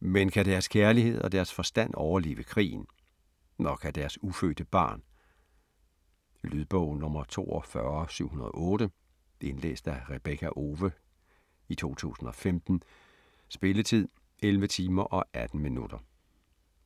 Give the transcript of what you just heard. men kan deres kærlighed og deres forstand overleve krigen? Og kan deres ufødte barn? Lydbog 42708 Indlæst af Rebekka Owe, 2015. Spilletid: 11 timer, 18 minutter.